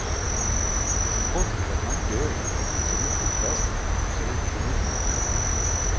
Konstigt att man dög till så mycket förr och så litet nu.